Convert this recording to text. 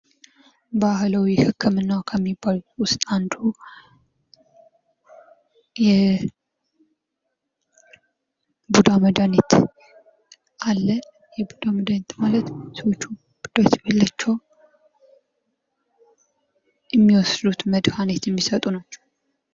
ባህላዊ ህክምና ከሚባሉት ዉስጥ አንዱ የቡዳ መድኃኒት አለ። የቡዳ መድኃኒት ማለት ሰዎቹ ቡዳ ሲበላቸዉ የሚወስዱት የሚምጡት መድኃኒት ማለት ነዉ።